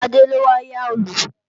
Ṣadé ló wá yá Òòlù